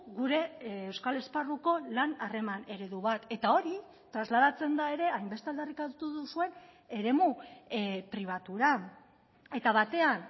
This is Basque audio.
gure euskal esparruko lan harreman eredu bat eta hori trasladatzen da ere hainbeste aldarrikatu duzuen eremu pribatura eta batean